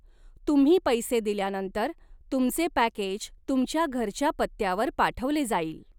तुम्ही पैसे दिल्यानंतर, तुमचे पॅकेज तुमच्या घरच्या पत्त्यावर पाठवले जाईल.